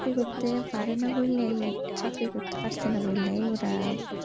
পারেনা বললে চাকরি করতে পাচ্ছেনা এরা।